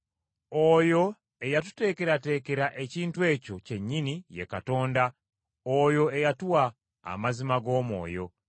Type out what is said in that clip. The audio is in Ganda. Oyo eyatuteekerateekera ekintu ekyo kyennyini ye Katonda oyo eyatuwa amazima g’Omwoyo.